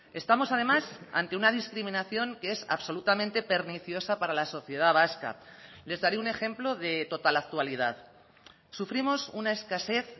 estamos además ante una discriminación que es absolutamente perniciosa para la sociedad vasca les daré un ejemplo de total actualidad sufrimos una escasez